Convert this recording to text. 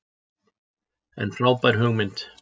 En frábær hugmynd